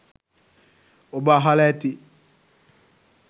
ඔබ අහල ඇති